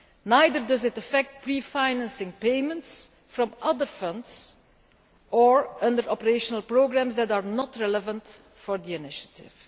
Neither does it affect pre financing payments from other funds or under operational programmes that are not relevant for the initiative.